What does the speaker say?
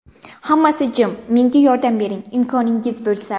Hammasi jim... Menga yordam bering, imkoningiz bo‘lsa.